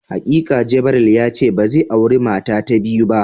Hakika Gabriel yace bazai auri mata ta biyu ba.